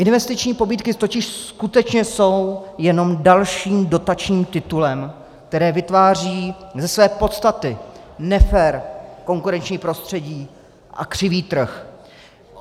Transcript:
Investiční pobídky totiž skutečně jsou jenom dalším dotačním titulem, který vytváří ze své podstaty nefér konkurenční prostředí a křivý trh.